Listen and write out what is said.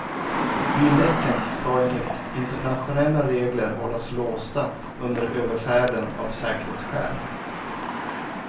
Bildäcken ska enligt internationella regler hållas låsta under överfärden av säkerhetsskäl.